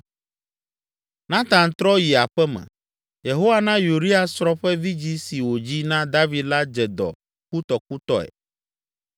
Natan trɔ yi aƒe me. Yehowa na Uria srɔ̃ ƒe vidzĩ si wòdzi na David la dze dɔ kutɔkutɔe.